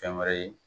Fɛn wɛrɛ ye